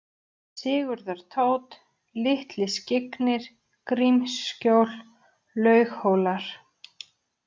Sigurðartótt, Litli-Skyggnir, Grímsskjól, Laughólar